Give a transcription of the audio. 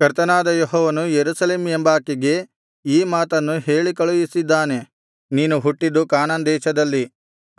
ಕರ್ತನಾದ ಯೆಹೋವನು ಯೆರೂಸಲೇಮ್ ಎಂಬಾಕೆಗೆ ಈ ಮಾತನ್ನು ಹೇಳಿಕಳುಹಿಸಿದ್ದಾನೆ ನೀನು ಹುಟ್ಟಿದ್ದು ಕಾನಾನ್ ದೇಶದಲ್ಲಿ